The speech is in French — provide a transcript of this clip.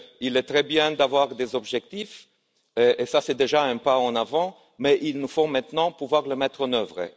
C'est très bien d'avoir des objectifs, c'est déjà un pas en avant, mais il nous faut maintenant pouvoir les mettre en œuvre.